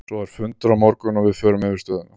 Svo er fundur á morgun og við förum yfir stöðuna.